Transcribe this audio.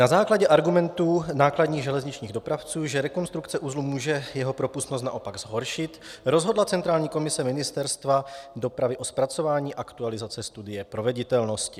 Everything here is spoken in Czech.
Na základě argumentů nákladních železničních dopravců, že rekonstrukce uzlu může jeho propustnost naopak zhoršit, rozhodla centrální komise Ministerstva dopravy o zpracování aktualizace studie proveditelnosti.